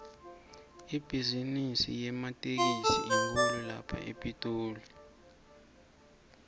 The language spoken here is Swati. ibhizimisi yematekisi inkhulu la epitoli